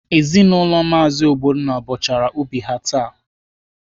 Ezinaụlọ Maazi Ogbonna bọchara ubi ha taa.